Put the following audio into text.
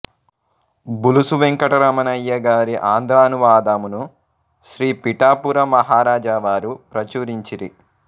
బులుసు వేంకటరమణయ్య గారి ఆంధ్రానువాదమును శ్రీ పిఠాపురం మహారాజావారు ప్రచురించిరి